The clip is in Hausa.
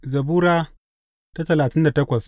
Zabura Sura talatin da takwas